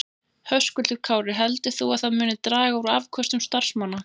Höskuldur Kári: Heldur þú að það muni draga úr afköstum starfsmanna?